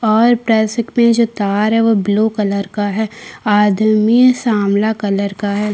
और में जो तार है वो ब्लू कलर का है आदमी सावला कलर का है।